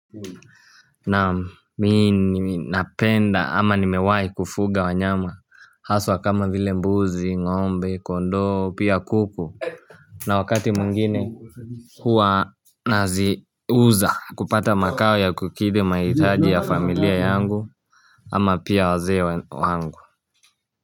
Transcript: Na minapenda ama nimewai kufuga wanyama haswa kama vile mbuzi ngombe kondo pia kuku na wakati mwingine huwa nazi uza kupata makao ya kukidhi maithaji ya familia yangu ama pia wazee wangu.